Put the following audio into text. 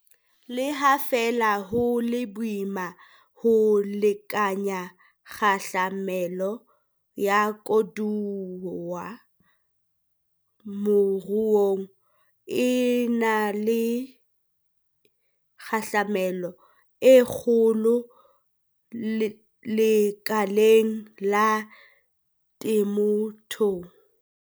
Le ha feela ho le boima ho lekanya kgahlamelo ya koduwa moruong, e na le kgahlamelo e kgolo lekaleng la temothuo.